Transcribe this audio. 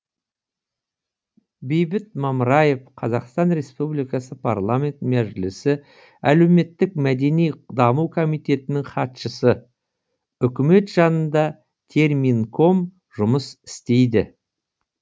бейбіт мамраев қазақстан республикасының парламент мәжілісі әлеуметтік мәдени даму комитетінің хатшысы үкімет жанында терминком жұмыс істейді